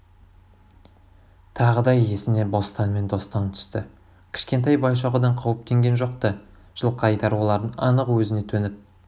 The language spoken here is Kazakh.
тағы да есіне бостан мен достан түсті кішкентай байшоқындан қауіптенген жоқ-ты жылқайдар олардын анық өзіне төніп